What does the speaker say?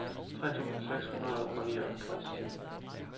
tre tusind seks hundrede og nioghalvtreds